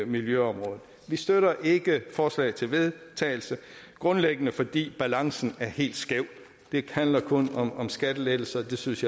miljøområdet vi støtter ikke forslaget til vedtagelse grundlæggende fordi balancen er helt skæv det handler kun om om skattelettelser jeg synes